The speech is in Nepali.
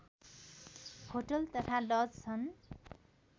होटल तथा लज छन्